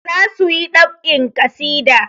Za su yi ɗab'in ƙasida.